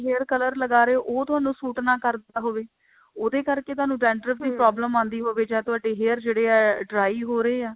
hair color ਲਗਾ ਰਹੇ ਹੋ ਉਹ ਤੁਹਾਨੂੰ ਸ਼ੂਟ ਨਾ ਕਰਦਾ ਹੋਵੇ ਉਹਦੇ ਕਰਕੇ ਤੁਹਾਨੂੰ dandruff ਦੀ problem ਆਂਦੀ ਹੋਵੇ ਜਾ ਤੁਹਾਡੇ hairs ਜੋ ਹੈ dry ਹੋ ਰਹੇ ਆ